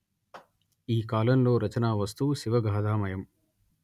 ఈ కాలంలో రచనా వస్తువు శివగాధామయం